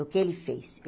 O que ele fez?